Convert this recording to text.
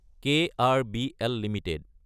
KRBL Ltd